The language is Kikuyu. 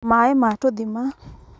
maĩ ma tũthima